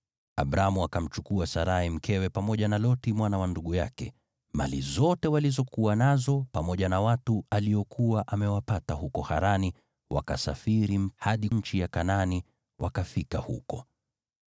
Abramu akamchukua Sarai mkewe pamoja na Loti mwana wa ndugu yake, mali zote walizokuwa nazo pamoja na watu aliokuwa amewapata huko Harani, wakasafiri mpaka nchi ya Kanaani, wakafika huko.